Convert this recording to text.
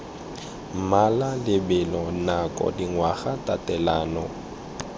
mmala lebelo nako dingwaga tatelano